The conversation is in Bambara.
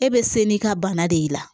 E bɛ se n'i ka bana de y'i la